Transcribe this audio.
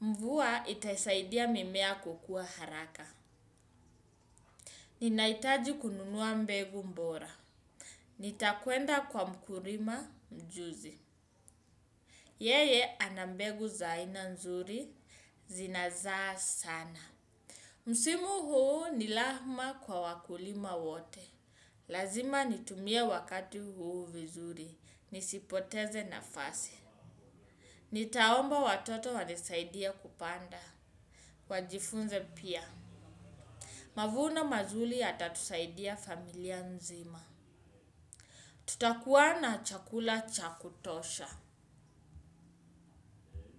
Mvua itaisaidia mimea kukua haraka. Ninahitaji kununua mbegu mbora. Nitakwenda kwa mkurima mjuzi. Yeye ana mbegu za aina nzuri, zinazaa sana. Msimu huu ni lahma kwa wakulima wote. Lazima nitumie wakati huu vizuri, nisipoteze nafasi. Nitaomba watoto wanisaidie kupanda. Wajifunze pia. Mavuno mazuli yatatusaidia familia nzima. Tutakuwa na chakula cha kutosha.